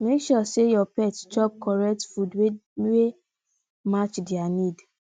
make sure say your pet chop correct food wey wey match their need